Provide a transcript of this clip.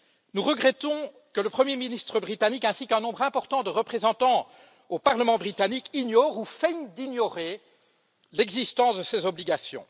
Nous regrettons que le premier ministre britannique, ainsi qu'un nombre important de représentants au parlement britannique ignorent ou feignent d'ignorer l'existence de ces obligations.